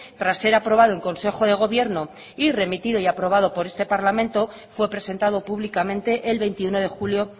tras ser aprobado en consejo de gobierno y remitido y aprobado por este parlamento fue presentado públicamente el veintiuno de julio